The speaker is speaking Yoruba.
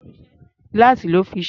Gíláàsì lọ́ fi ṣe é.